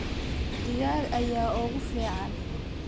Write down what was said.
Digaag ayaa ugu fiican.